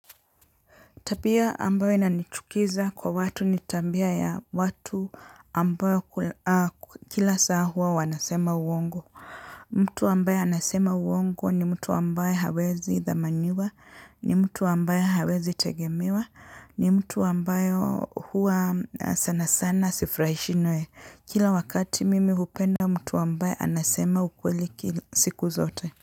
Tapia ambayo inanichukiza kwa watu nitambia ya watu ambayo kila saa huwa wanasema uongo. Mtu ambaye anasema uongo ni mtu ambaye hawezi dhamaniwa, ni mtu ambaye hawezi tegemiwa, ni mtu ambayo hua sana sana sifurahishinae. Kila wakati mimi hupenda mtu ambayo anasema ukweli siku zote.